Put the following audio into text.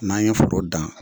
N'an ye foro dan